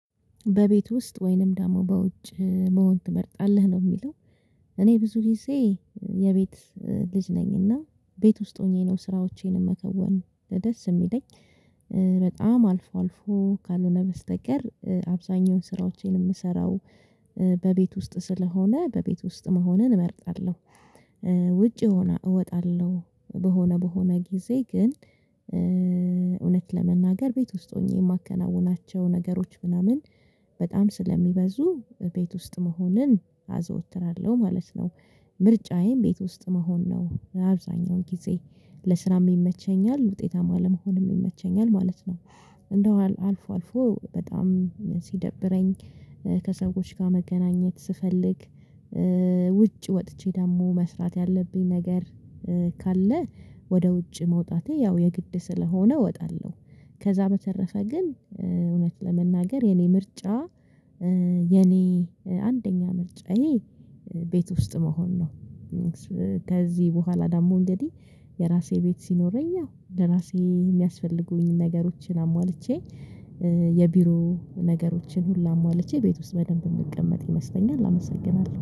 በቤት ውስጥ ወይንም ደግሞ በውጭ መሆን ትመርጣለህ ነው የሚለው? እኔ ብዙ ጊዜ የቤት ልጅ ነኝና ቤት ውስጥ ሆኜ ነው ስራዎቼንም መከወን ደስ የሚለኝ። በጣም አልፎ አልፎ ካልሆነ በስተቀር አብዛኛውን ስራዎቼን የምሰራው በቤት ውስጥ ስለሆነ በቤት ውስጥ መሆንን እመርጣለሁ። ውጪ ሆና እወጣለሁ በሆነ በሆነ ጊዜ ግን እውነት ለመናገር ቤት ውስጥ ሆኜ የማከናውናቸው ነገሮች ምናምን በጣም ስለሚበዙ ቤት ውስጥ መሆንን አዘወትራለሁ ማለት ነው። ምርጫዬም ቤት ውስጥ መሆን ነው። አብዛኛውን ጊዜ ለስራም ይመቸኛል ውጤታማ ለመሆንም ይመቸኛል ማለት ነው። እንደው አልፎ አልፎ በጣም ሲደብረኝ ከሰዎች ጋር መገናኘት ስፈልግ ውጭ ወጥቼ ደግሞ መስራት ያለብኝ ነገር ካለ ወደ ውጭ መውጣቴ ያው የግድ ስለሆነ እወጣለሁ። ከዛ በተረፈ ግን እውነት ለመናገር የኔ ምርጫ የኔ አንደኛ ምርጫ ይሄ ቤት ውስጥ መሆን ነው። ከዚህ በኋላ ደግሞ እንግዲህ የራሴ ቤት ሲኖረኝ አዎ ለራሴ የሚያስፈልጉኝን ነገሮችን አሟልቼ የቢሮ ነገሮችን ሁላ አሟልቼ ቤት ውስጥ በደንብ የምቀመጥ ይመስለኛል አመሰግናለሁ